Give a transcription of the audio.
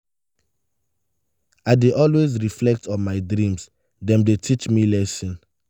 i dey always reflect on my dreams; dem dey teach me lessons.